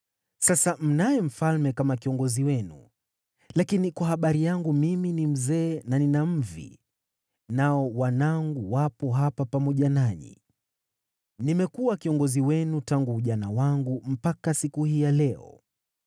Sasa mnaye mfalme kama kiongozi wenu. Lakini kwa habari yangu mimi ni mzee na nina mvi, nao wanangu wapo hapa pamoja nanyi. Nimekuwa kiongozi wenu tangu ujana wangu mpaka siku hii ya leo.